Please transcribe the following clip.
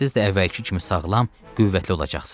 Siz də əvvəlki kimi sağlam, qüvvətli olacaqsınız.